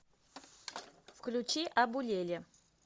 включи абулеле